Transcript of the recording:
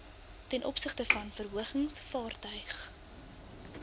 tov verhogings vaartuig